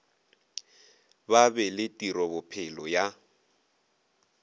ba be le tirobophelo ya